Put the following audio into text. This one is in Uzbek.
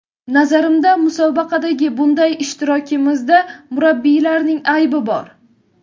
Nazarimda musobaqadagi bunday ishtirokimizda murabbiylarning aybi bor.